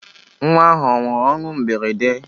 Nnwa ahụ anwụrụ ọnwụ mberede?